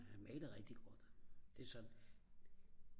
han maler rigtig godt det er sådan